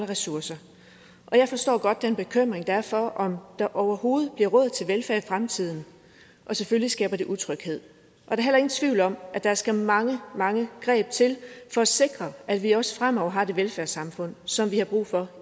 ressourcer og jeg forstår godt den bekymring der er for om der overhovedet bliver råd til velfærd i fremtiden og selvfølgelig skaber det utryghed der er heller ingen tvivl om at der skal mange mange greb til for at sikre at vi også fremover har det velfærdssamfund som vi har brug for